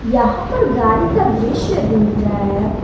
यहां पर गाड़ी का दृश्य दिख रहा है।